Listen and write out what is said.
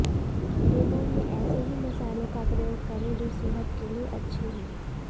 dinner में ऐसे ही मसालों का प्रयोग करें जो सेहत के लिए अच्छे हों